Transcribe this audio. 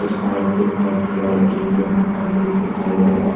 कुछ बाइक दिखाई दे रहा है एक लोहा का गेट दिखाई दे रहा है।